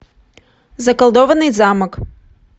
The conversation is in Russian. заколдованный замок